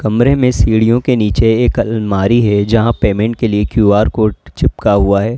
कमरे में सीढ़ियों के नीचे एक अलमारी है जहां पेमेंट के लिए क्यू_आर कोड चिपका हुआ है।